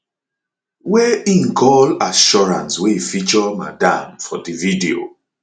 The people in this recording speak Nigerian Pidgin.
wey im call assurance wey feature madam for di video